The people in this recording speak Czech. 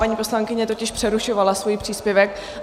Paní poslankyně totiž přerušovala svůj příspěvek.